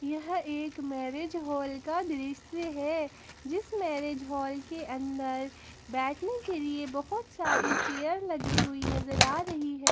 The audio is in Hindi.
यह एक मैरिज हॉल का दृश्य है जिस मैरिज हॉल के अंदर बैठने के लिए बहुत सारी चेयर लगी हुई नजर आ रही है।